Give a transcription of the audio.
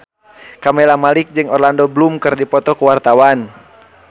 Camelia Malik jeung Orlando Bloom keur dipoto ku wartawan